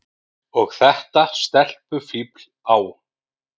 Og þetta stelpufífl á